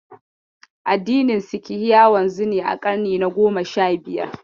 Addinin Sikhi ya wanzu ne a ƙarni na goma sha biyar.